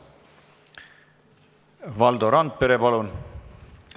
Valdo Randpere, palun!